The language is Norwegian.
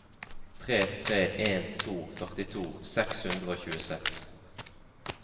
tre tre en to førtito seks hundre og tjueseks